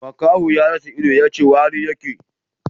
Makaho ya rasa ido, yace wari yake